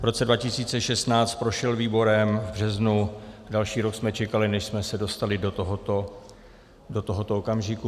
V roce 2016 prošel výborem v březnu, další rok jsme čekali, než jsme se dostali do tohoto okamžiku.